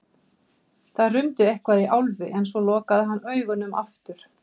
Það rumdi eitthvað í Álfi en svo lokaði hann augunum aftur.